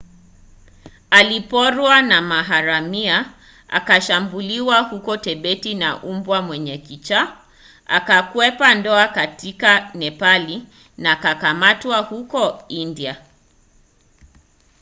aliporwa na maharamia akashambuliwa huko tibeti na mbwa mwenye kichaa akakwepa ndoa katika nepali na akakamatwa huko india